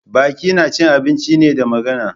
Baki na cin abinci ne, da magana.